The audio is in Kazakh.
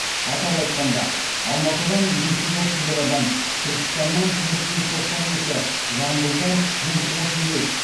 атап айтқанда алматыдан бес жүз отыз бір адам түркістаннан төрт жүз тоқсан екі жамбылдан жүз отыз бес